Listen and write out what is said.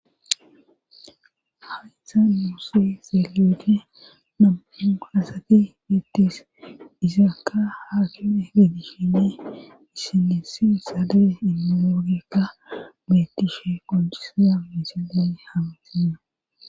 Haitha muusse zelede namu hasate betes izaaka haakime bedihhine issenesi sade imalogeka betishe kongiseya misigay hametina.